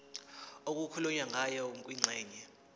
okukhulunywe ngayo kwingxenye